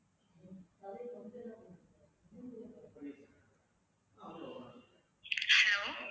hello